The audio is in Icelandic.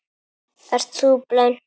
Ert þú blönk?